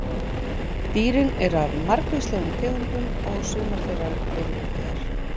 Dýrin eru af margvíslegum tegundum og sumar þeirra eru útdauðar.